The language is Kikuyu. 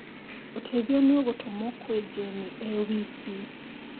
Ũteithio nĩ ũgũtũmũo kwĩ Jane e wiki